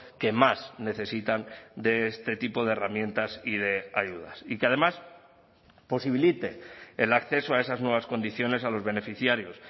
que más necesitan de este tipo de herramientas y de ayudas y que además posibilite el acceso a esas nuevas condiciones a los beneficiarios